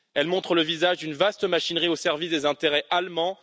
Elle montre le visage d'une vaste machinerie au service des intérêts allemands.